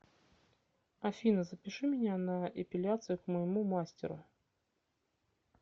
афина запиши меня на эпиляцию к моему мастеру